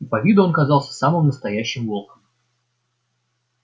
по виду он казался самым настоящим волком